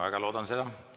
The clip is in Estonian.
Väga loodan seda.